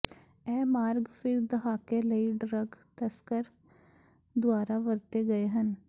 ਇਹ ਮਾਰਗ ਫਿਰ ਦਹਾਕੇ ਲਈ ਡਰੱਗ ਤਸਕਰ ਦੁਆਰਾ ਵਰਤੇ ਗਏ ਹਨ